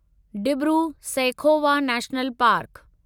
Dibru Saikhowa national park